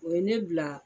O ye ne bila